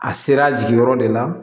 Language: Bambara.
A sera a jigi yɔrɔ de la